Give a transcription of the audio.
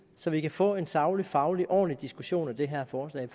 så vi kan få en saglig faglig og ordentlig diskussion af det her forslag